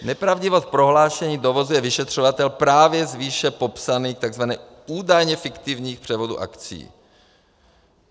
Nepravdivost prohlášení dovozuje vyšetřovatel právě z výše popsaných tzv. údajně fiktivních převodů akcií.